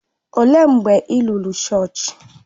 Ọ léé mgbe ị lọrọ chọọchị?